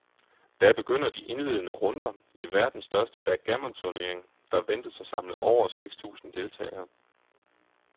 Da begynder de indledende runder i verdens største backgammonturnering, der ventes at samle over seks tusind deltagere.